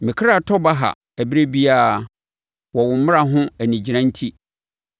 Me kra tɔ baha ɛberɛ biara wɔ wo mmara ho anigyina enti.